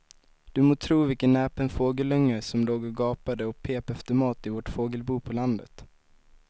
Du må tro vilken näpen fågelunge som låg och gapade och pep efter mat i vårt fågelbo på landet.